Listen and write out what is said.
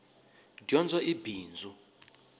dyondzo i bindzu